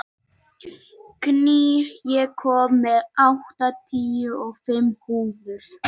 Gnýr, ég kom með áttatíu og fimm húfur!